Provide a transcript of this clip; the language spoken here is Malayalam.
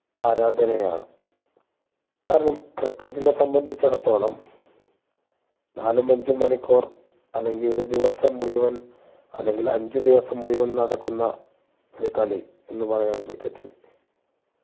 ആരാധനയാണ് കാരണം ക്രിക്കറ്റിനെ സംബന്ധിച്ചെടുത്തോളം നാലും അഞ്ചും മണിക്കൂർ അല്ലെങ്കി ഒരു ദിവസം മുഴുവൻ അല്ലെങ്കി അഞ്ച് ദിവസം മുഴുവൻ നടക്കുന്ന ഒരു കളി എന്ന് പറയാം ക്രിക്കറ്റ് നെ